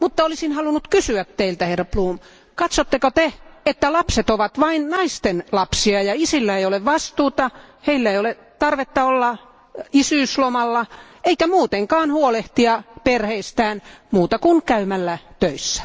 Olisin halunnut kysyä teiltä herra Bloom, katsotteko Te, että lapset ovat vain naisten lapsia, ja isillä ei ole vastuuta, heillä ei ole tarvetta olla isyyslomalla eikä muutenkaan huolehtia perheistään, muuta kuin käymällä töissä?